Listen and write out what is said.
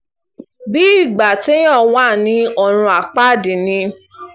bíi ìgbà téèyàn wà ní ọ̀run àpáàdì ni